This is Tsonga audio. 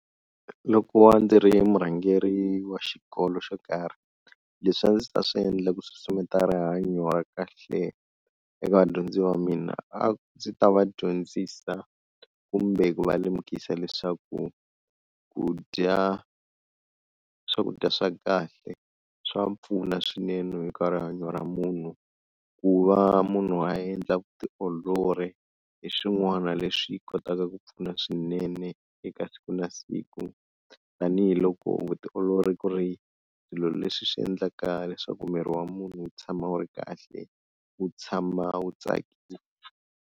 Loko ndzi ri murhangeri wa xikolo xo karhi leswi a ndzi ta swi endla ku susumetela rihanyo ra kahle eka vadyondzi va mina, a ndzi ta va dyondzisa kumbe ku va lemukisa leswaku ku dya swakudya swa kahle swa pfuna swinene eka rihanyo ra munhu ku va munhu a endla vutiolori hi swin'wana leswi yi kotaka ku pfuna swinene eka siku na siku, tanihiloko vutiolori ku ri swilo leswi swi endlaka leswaku miri wa munhu wu tshama wu ri kahle wu tshama wu tsakile.